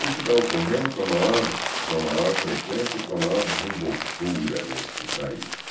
Isso está ocorrendo com a maior com a maior frequência e com a maior desenvoltura nesse país.